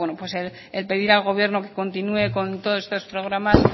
el pedir al gobierno que continúe con todos estos programas